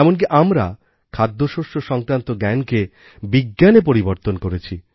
এমনকি আমরা খাদ্যশস্য সংক্রান্ত জ্ঞানকে বিজ্ঞানে পরিবর্তন করেছি